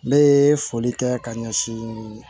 N bɛ foli kɛ ka ɲɛsin